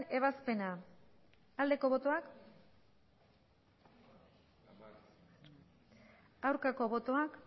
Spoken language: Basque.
ebazpena aldeko botoak aurkako botoak